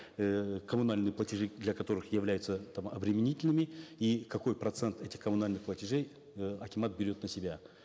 эээ коммунальные платежи для которых являются там обременительными и какой процент этих коммунальных платежей э акимат берет на себя